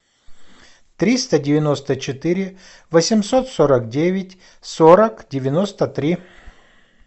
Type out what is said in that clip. триста девяносто четыре восемьсот сорок девять сорок девяносто три